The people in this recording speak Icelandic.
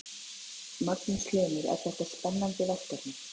Magnús Hlynur: Er þetta spennandi verkefni?